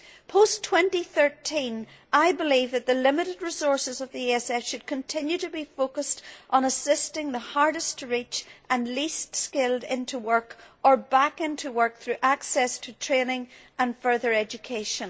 Post 2013, I believe that the limited resources of the ESF should continue to be focused on assisting the hardest to reach and least skilled into work or back into work through access to training and further education.